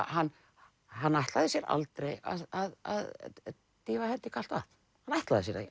hann hann ætlaði sér aldrei að dýfa hendi í kalt vatn hann ætlaði sér það